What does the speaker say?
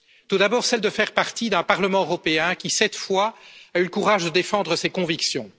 Tout d'abord, celle de faire partie d'un Parlement européen qui, cette fois, a eu le courage de défendre ses convictions.